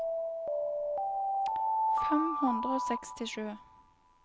fem hundre og sekstisju